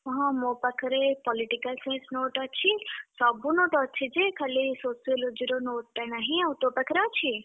ହଁ ମୋ ପାଖରେ Political Science note ଅଛି। ସବୁ note ଅଛି ଯେ, ଖାଲି Sociology ର note ଟା ନାହିଁ ଆଉ ତୋ ପାଖରେ ଅଛି?